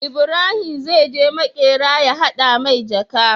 Ibarahim zai je makera ya hada mai jaka